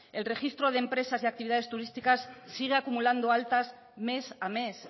el registro de empresas de actividades turísticas sigue acumulando altas mes a mes